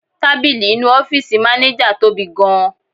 Tábìlì inú ọ́fíìsì maneja tóbi gan-an.